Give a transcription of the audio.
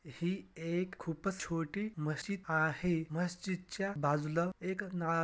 ही एक खूपच छोटी मस्जित आहे मस्जित च्या बाजूला एक ना--